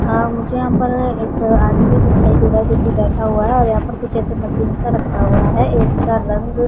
हां मुझे यहाँ पर एक आदमी दिखाई दे रहाहै जो कि बैठा हुआ है और यहाँ पर कुछ ऐसे मशीन सा रखा हुआ है इसका रंग --